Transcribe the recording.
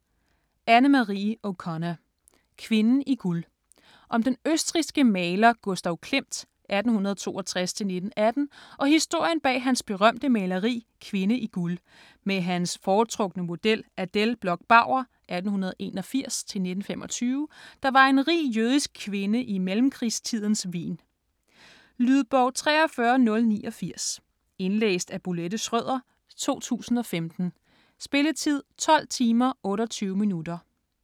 O'Connor, Anne-Marie: Kvinden i guld Om den østrigske maler Gustav Klimt (1862-1918) og historien bag hans berømte maleri "Kvinde i guld" med hans foretrukne model Adele Bloch-Bauer (1881-1925), der var en rig jødisk kvinde i mellemkrigstidens Wien. Lydbog 43089 Indlæst af Bolette Schrøder, 2015. Spilletid: 12 timer, 28 minutter.